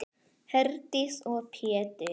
Herdís og Pétur.